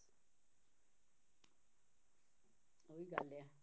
ਉਹੀ ਗੱਲ ਹੈ